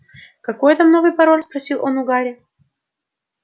какой там новый пароль спросил он у гарри